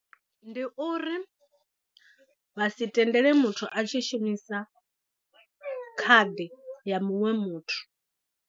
Ndi uri vha si tendele muthu a tshi shumisa khadi ya muṅwe muthu.